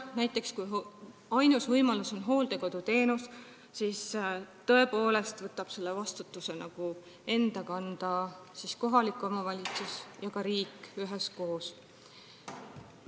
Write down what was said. Näiteks, kui ainus võimalus on hooldekoduteenus, siis tõepoolest võtavad selle vastutuse enda kanda kohalik omavalitsus ja riik üheskoos.